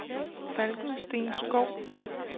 Falkensteenskov